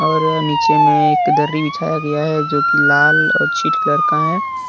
और नीचे में एक दर्री बिछाया गया है जो की लाल और छिट कलर का है।